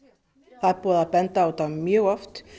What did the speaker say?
það er búið að benda á þetta mjög oft